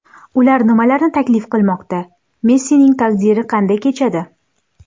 Ular nimalarni taklif qilinmoqda, Messining taqdiri qanday kechadi?